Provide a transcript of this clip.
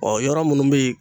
Ɔ yɔrɔ minnu bɛ yen